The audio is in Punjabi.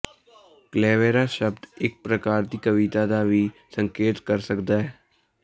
ਕਲੇਵੇਰਾ ਸ਼ਬਦ ਇੱਕ ਪ੍ਰਕਾਰ ਦੀ ਕਵਿਤਾ ਦਾ ਵੀ ਸੰਕੇਤ ਕਰ ਸਕਦਾ ਹੈ